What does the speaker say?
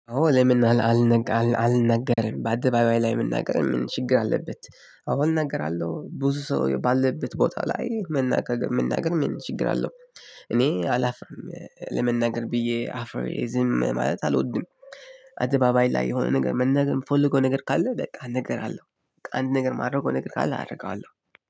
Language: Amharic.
አዎ ለምን አልናገርም በአደባባይ ላይ መናገር ምን ችግር አለበት? አዎ እናገራለሁ ብዙ ሰው ባለበት ቦታ ላይ መናገር መናገር ምን ችግር አለው? እኔ አላፍርም ለመናገር ብዬ አፍሬ ዝም ማለት አልወድም። አደባባይ ላይ የሆነ ነገር መናገር የምፈልገው ነገር ካለ በቃ እናገራለው። አንድ ነገር የማደርገው ነገር ካለ አደርገዋለሁ